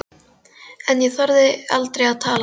En ég þorði aldrei að tala við hana.